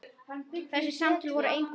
Þessi samtöl voru engu lík.